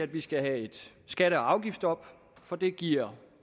vi skal have et skatte og afgiftsstop for det giver